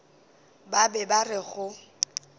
ba be ba re go